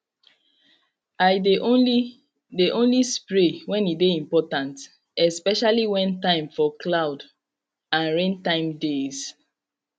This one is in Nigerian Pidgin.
i de only de only spray when e de important especially when time for cloud and rain time deys